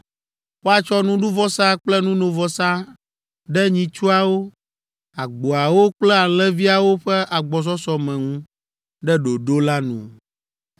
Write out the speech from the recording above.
Woatsɔ nuɖuvɔsa kple nunovɔsa ɖe nyitsuawo, agboawo kple alẽviawo ƒe agbɔsɔsɔ me ŋu ɖe ɖoɖo la nu.